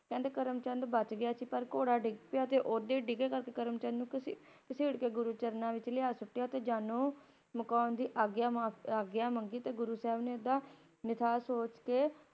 ਕਹਿੰਦੇ ਕਰਮ ਚੰਦ ਬਚ ਗਿਆ ਸੀ ਪਰ ਘੋੜਾ ਡਿੱਗ ਪਿਆ ਤੇ ਉਹਦੇ ਡਿਗੇ ਕਰਕੇ ਕਰਮ ਚੰਦ ਨੂੰ ਘਸੀਟ ਕੇ ਗੁਰਚਰਨਾਂ ਵਿਚ ਲਾ ਕੇ ਸੁੱਟਿਆ ਤੇਜਾ ਨੂੰ ਮੁਕਾਉਣ ਦੀ ਆਗਿਆ ਮਾਫ, ਆਗਿਆ ਮੰਗੀ ਤੇ ਗੁਰੂ ਸਾਹਿਬ ਨੇ ੳਹਦਾ ਨਿਥਾਓ ਸੋਚ ਕੇ ਛੋੜ